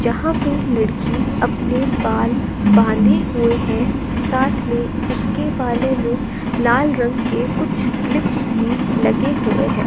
जहां पे लड़की अपने बाल बांधे हुए हैं साथ में उसके बालों में लाल रंग के कुछ क्लिपस भी लगे हुए हैं।